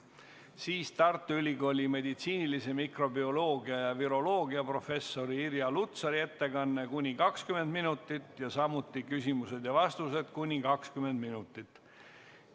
Siis Tartu Ülikooli meditsiinilise mikrobioloogia ja viroloogia professori Irja Lutsari ettekanne kuni 20 minutit ning samuti küsimused ja vastused kuni 20 minutit.